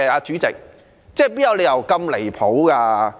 主席，哪有理由這樣"離譜"的？